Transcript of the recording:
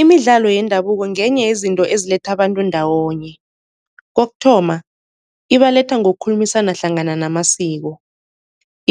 Imidlalo yendabuko ngenye yezinto eziletha abantu ndawonye. Kokuthoma ibaletha ngokukhulumisana hlangana namasiko